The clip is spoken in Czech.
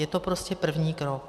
Je to prostě první krok.